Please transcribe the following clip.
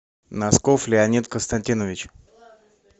носков леонид константинович